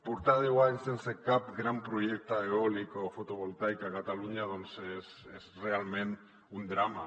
portar deu anys sense cap gran projecte eòlic o fotovoltaic a catalunya doncs és realment un drama